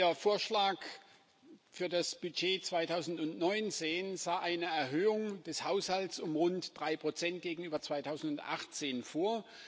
Ihr Vorschlag für das Budget 2019 sah eine Erhöhung des Haushalts um rund 3 gegenüber 2018 vor.